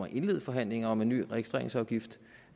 at indlede forhandlinger om en ny registreringsafgift